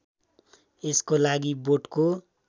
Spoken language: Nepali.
यसको लागि बोटको